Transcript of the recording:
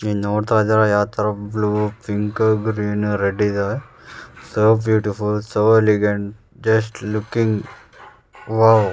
ನೀವು ನೋಡ್ತಾ ಇದೀರ ಯಾವ್ ತರ ಬ್ಲ್ಯೂ ಪಿಂಕ್ ಗ್ರೀನ್ ರೆಡ್ಡ್ ಇದಾವೆ so beautiful so elegant just looking wow .